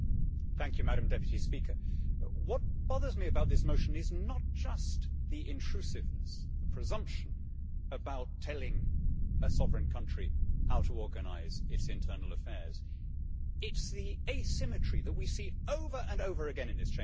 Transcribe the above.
Madam President, what bothers me about this motion is not just the intrusiveness and the presumption about telling a sovereign country how to organise its internal affairs, it is the asymmetry that we see over and over again in this Chamber.